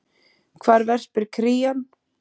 Hvar verpir krían?